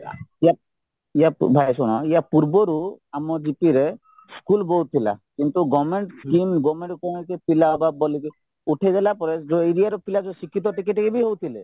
ୟା ଭାଇ ଶୁଣ ୟାପୂର୍ବରୁ ଆମ gp ରେ ସ୍କୁଲ ବହୁତ ଥିଲା କିନ୍ତୁ government scheme government କୌଣସି ପିଲା ବା police ଉଠେଇଦେଲା ପରେ ଯୋଉ area ର ପିଲା ଶିକ୍ଷିତ ଟିକେ ଟିକେ ବି ହଉଥିଲେ